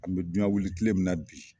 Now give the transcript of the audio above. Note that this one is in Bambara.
An bi duyan wili kile min na bi